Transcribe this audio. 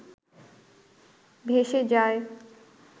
ভেসে যায়